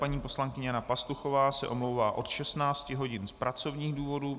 Paní poslankyně Jana Pastuchová se omlouvá od 16 hodin z pracovních důvodů.